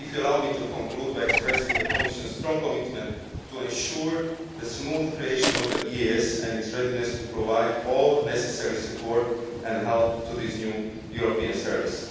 tomorrow. Allow me to conclude by expressing the Commission's strong commitment to ensuring the smooth creation of the EEAS and its readiness to provide all necessary support and help to this new European